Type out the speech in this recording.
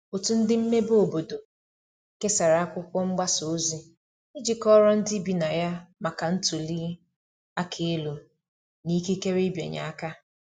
otu ndi mmebe obodo kesara akwụkwo mgbasa ozi iji kọoro ndi ibi na ya maka ntuli aka elu na ikekere ịbịanye aka